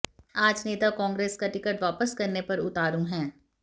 आज नेता कांग्रेस का टिकट वापस करने पर उतारू हैं